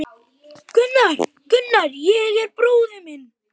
Gunnar, Gunnar er bróðir minn.